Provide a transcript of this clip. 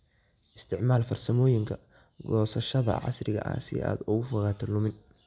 Isticmaal farsamooyinka goosashada casriga ah si aad uga fogaato lumin.